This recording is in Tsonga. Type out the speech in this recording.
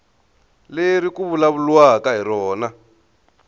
leri ku vulavuriwaka hi rona